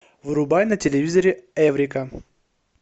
врубай на телевизоре эврика